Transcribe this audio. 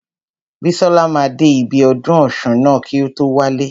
Bísọ́la máa dé ibi ọdún ọ̀ṣun ná kí o tó wálé.